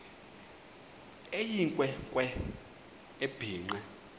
eyinkwe nkwe ebhinqe